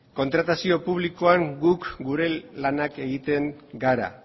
kontratazio publikoan gu gure lanak egiten ari gara